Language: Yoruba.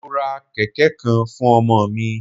Mo ra kẹ̀kẹ́ kan fún ọmọ mi.